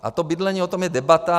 A to bydlení, o tom je debata.